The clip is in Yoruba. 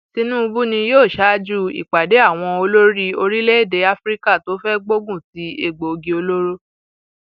tinubu ni yóò ṣáájú um ìpàdé àwọn olórí orílẹèdè um afrika tó fẹẹ gbógun ti egbòogi olóró